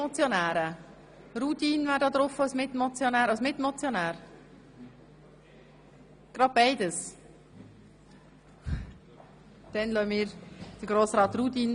– Grossrat Rudin hat als Mitmotionär das Wort, er spricht gleichzeitig für die glp Fraktion.